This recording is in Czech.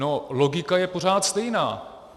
No, logika je pořád stejná.